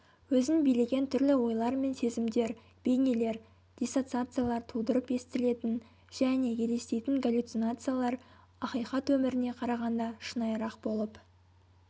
өзін билеген түрлі ойлар мен сезімдер бейнелер диссоциациялар тудырып естілетін және елестейтін галлюцинациялар ақиқат өміріне қарағанда шынайырақ болып